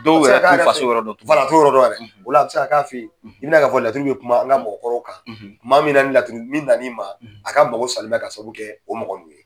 Dɔw yɛrɛ t'u faso yɔrɔ dɔn tugun , wala, u t'o yɔrɔ dɔn, a bɛ se ka k'a fɛ yen, bɛna ye k'a fɔ laturu bɛ kuma an ka mɔgɔkɔrɔw kan, tuma min na, ni laturunin nan'i ma, k'a mago salen bɛ k'a sabu kɛ o mɔgɔ ninnu ye.